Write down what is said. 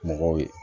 Mɔgɔw ye